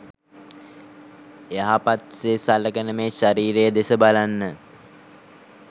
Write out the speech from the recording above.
යහපත්සේ සලකන මේ ශරීරය දෙස බලන්න.